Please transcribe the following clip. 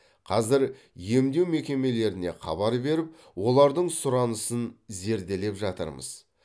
қазір емдеу мекемелеріне хабар беріп олардың сұранысын зерделеп жатырмыз